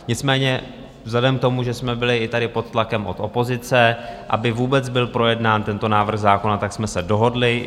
Nicméně vzhledem k tomu, že jsme byli i tady pod tlakem od opozice, aby vůbec byl projednán tento návrh zákona, tak jsme se dohodli.